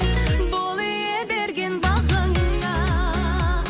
бол ие берген бағыңа